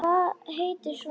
Hvað heitir sonur þinn?